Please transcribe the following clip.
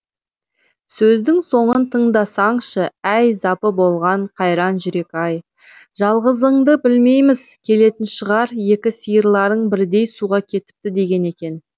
сөздің соңын тыңдасаңшы әй запы болған қайран жүрек ай жалғызыңды білмейміз келетін шығар екі сиырларың бірдей суға кетіпті деген екен